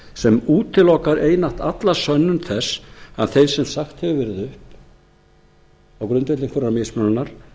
sem útilokar einatt alla sönnun þess að þeim sem sagt hefur verið upp á grundvelli einhverrar mismununar